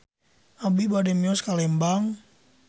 Abi bade mios ka Lembang